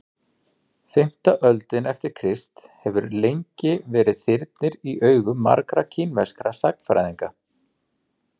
fimmta öldin eftir krist hefur lengi verið þyrnir í augum margra kínverskra sagnfræðinga